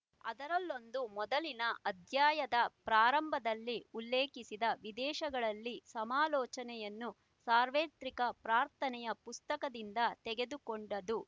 ಅದರಲ್ಲೊಂದು ಮೊದಲಿನ ಅಧ್ಯಾಯದ ಪ್ರಾರಂಭದಲ್ಲಿ ಉಲ್ಲೇಖಿಸಿದ ವಿದೇಶಗಳಲ್ಲಿ ಸಮಾಲೋಚನೆ ಯನ್ನು ಸಾರ್ವತ್ರಿಕ ಪ್ರಾರ್ಥನೆಯ ಪುಸ್ತಕ ದಿಂದ ತೆಗೆದುಕೊಂಡದ್ದು